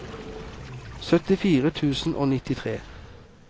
syttifire tusen og nittitre